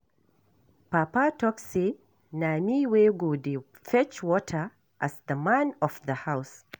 Papa talk say na me wey go dey fetch water as the man of the house